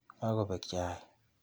Kakobek chaik.